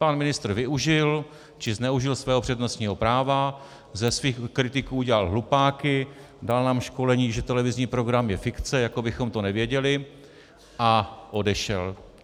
Pan ministr využil, či zneužil svého přednostního práva, ze svých kritiků udělal hlupáky, dal nám školení, že televizní program je fikce, jako bychom to nevěděli, a odešel.